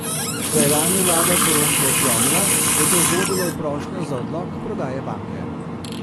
Ko je lani vlada poroštvo odklonila, je to vodilo v prošnjo za odlog prodaje banke.